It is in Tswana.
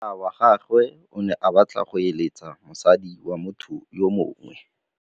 Monna wa gagwe o ne a batla go êlêtsa le mosadi wa motho yo mongwe.